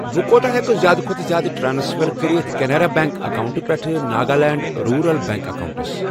بہٕ کوٗتاہ ہٮ۪کہٕ زِیٛادٕ کھوتہٕ زِیٛادٕ ٹرانسفر کٔرِتھ کیٚنارا بیٚنٛک اکاونٹہٕ پٮ۪ٹھٕ ناگالینٛڈ روٗرَل بیٚنٛک اکاونٹَس۔